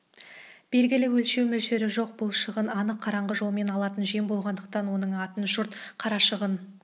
белгілі өлшеу мөлшері жоқ бұл шығын анық қараңғы жолмен алатын жем болғандықтан оның атын жұрт қарашығын